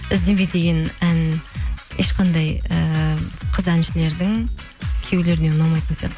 іздеме деген ән ешқандай ііі қыз әншілердің күйеулеріне ұнамайтын сияқты